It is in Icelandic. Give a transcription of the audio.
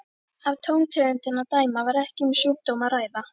Af tóntegundinni að dæma var ekki um sjúkdóm að ræða.